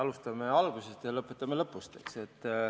Alustame algusest ja lõpetame lõpus.